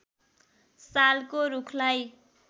सालको रूखलाई